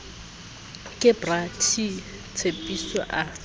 ke bra t tshepiso a